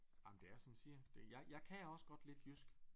Ej men det er som jeg siger det jeg jeg kan også godt lidt jysk